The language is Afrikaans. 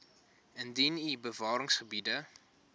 indien u bewaringsgebiede